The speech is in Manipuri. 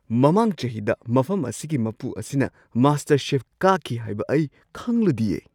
ꯃꯃꯥꯡ ꯆꯍꯤꯗ ꯃꯐꯝ ꯑꯁꯤꯒꯤ ꯃꯄꯨ ꯑꯁꯤꯅ ꯃꯥꯁꯇꯔꯁꯦꯐ ꯀꯥꯈꯤ ꯍꯥꯏꯕ ꯑꯩ ꯈꯪꯂꯨꯗꯤꯌꯦ!